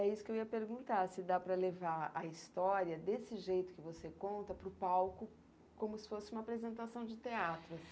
É isso que eu ia perguntar, se dá para levar a história desse jeito que você conta para o palco como se fosse uma apresentação de teatro.